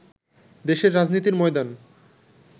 দেশের রাজনীতির ময়দান